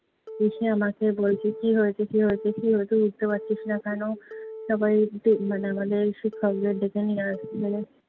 এসে আমাকে বলছে, কী হয়েছে? কী হয়েছে? কী হয়েছে? উঠতে পারছিস না কেনো? সবাই মানে আমাদের শিক্ষকদের ডেকে নিয়ে আসলো।